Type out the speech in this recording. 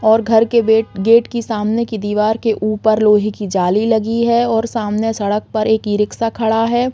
और घर के वेट गेट की सामने की दीवार के ऊपर लोहे की जाली लगी है और सामने सड़क पर एक ई-रिक्शा खड़ा है।